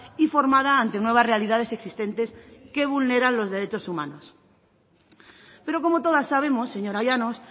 y formada ante nuevas realidades existentes que vulneran los derechos humanos pero como todas sabemos señora llanos